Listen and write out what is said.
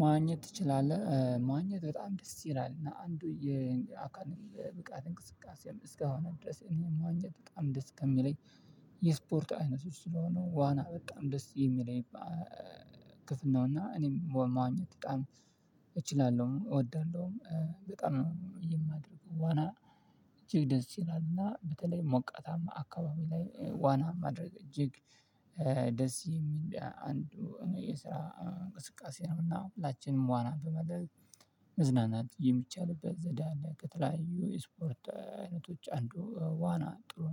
ማዋኘት ትችላለህ ማዋኘት በጣም ደስ ይላል እና አንዱ የአካል ብቃት እንቅስቃሴም እስካሁን ድረስ እኔ መዋኘት በጣም ደስ ከሚለኝ የስፖርት አይነቶች ስለሆኑ ዋና በጣም ደስ የሚለኝ። ክፍል ነውና እኔም ወማኘት በጣም እችላለሁ እወዳለሁም በጣም ነው የማደርገው ዋና። እጅግ ደስ ይላል እና በተለይ ሞቃታማ አካባቢ ላይ ዋና ማድረግ እጅግ ደስ የሚል አንዱ የስራ እንቅስቃሴ ነው። እና ሁላችንም ዋና በማድረግ መዝናናት የሚቻልበት ዘዴ አለ። ከተለያዩ የስፖርት አይነቶች አንዱ ዋና ጥሩ